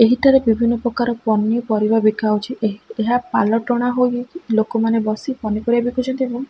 ଏହିଠାରେ ବିଭିନ୍ନ ପ୍ରକାର ପନିପରିବା ବିକା ହଉଛି ଏହି ଏହା ପାଲ ଟଣା ହୋଇ ଲୋକମାନେ ବସି ପନିପରିବା ବିକୁଛନ୍ତି ଏବଂ--